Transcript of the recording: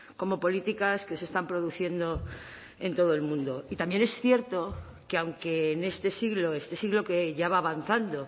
como políticas que se están produciendo en todo el mundo y también es cierto que aunque en este siglo este siglo que ya va avanzando